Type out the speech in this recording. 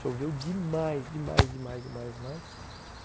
Choveu demais, demais, demais, demais, demais.